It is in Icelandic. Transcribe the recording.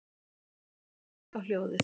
Emil gekk á hljóðið.